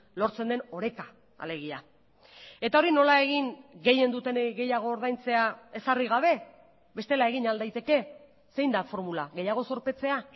lortzen den oreka alegia eta hori nola egin gehien dutenei gehiago ordaintzea ezarri gabe bestela egin al daiteke zein da formula gehiago zorpetzea